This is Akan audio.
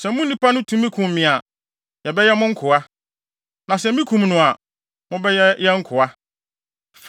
Sɛ mo nipa no tumi kum me a, yɛbɛyɛ mo nkoa. Na sɛ mikum no a, mobɛyɛ yɛn nkoa.”